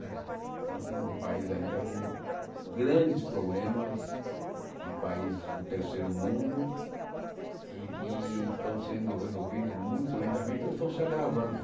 Né então nós temos um país ainda com grandes problemas de países do terceiro mundo e que estão sendo resolvidos muito lentamente ou estão se agravando.